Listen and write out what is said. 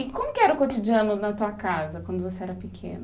E como que era o cotidiano na tua casa quando você era pequena?